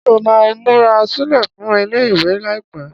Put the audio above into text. Ṣé ó máa múra sílẹ̀ fún ilé-ìwé láìpẹ́?